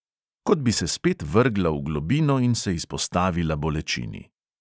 Kot bi se spet vrgla v globino in se izpostavila bolečini.